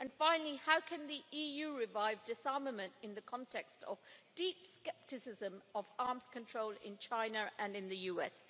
Finally, how can the EU revive disarmament in the context of deep scepticism about arms control in China and in the US?